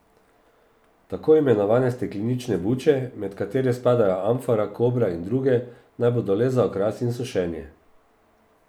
Tako imenovane steklenične buče, med katere spadajo amfora, kobra in druge, naj bodo le za okras in sušenje.